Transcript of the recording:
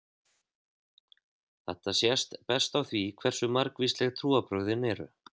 Þetta sést best á því hversu margvísleg trúarbrögðin eru.